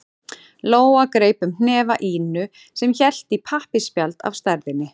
Lóa greip um hnefa Ínu sem hélt í pappaspjald af stærðinni